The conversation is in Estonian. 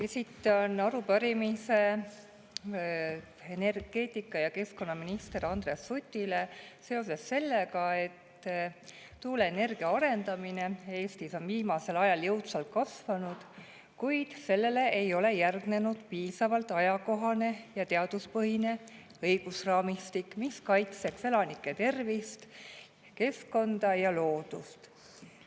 Esitan arupärimise energeetika‑ ja keskkonnaminister Andreas Sutile seoses sellega, et tuuleenergia arendamine on Eestis viimasel ajal jõudsalt kasvanud, kuid sellele ei ole järgnenud piisavalt ajakohane ja teaduspõhine õigusraamistik, mis kaitseks elanike tervist, keskkonda ja loodust.